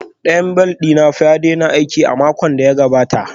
Ɗayan bel ɗin fanna ya daina aiki a makon da ya gabata